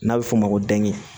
N'a bɛ f'o ma ko dɛnki